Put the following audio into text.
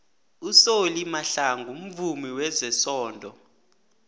usolly mahlangu mvumi wezesondo